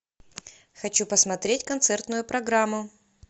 хочу посмотреть концертную программу